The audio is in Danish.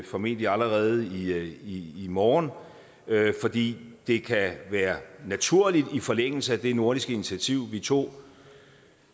formentlig allerede i i morgen fordi det kan være naturligt i forlængelse af det nordiske initiativ vi tog